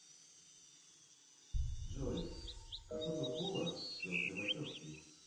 джой какого пола сестры вачовски